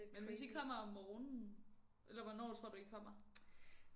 Men hvis I kommer om morgenen eller hvornår tror du I kommer